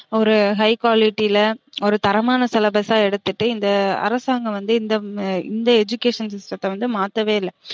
ஒரு high quality ல ஒரு தரமான syllabus அ எடுத்துட்டு இந்த அரசாங்கம் வந்து இந்த இந்த education system த்த வந்து மாத்தவே இல்ல